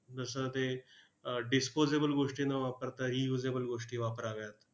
जसं ते अह disposable गोष्टी न वापरताही usable गोष्टी वापराव्यात.